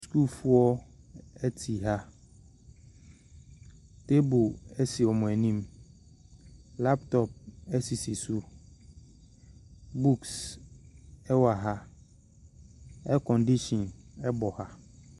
Sukuufoɔ te ha ɛpono si wɔn anim lapotɔpo sisi so nwoma wɔ ha 'air condition' bɔ ha.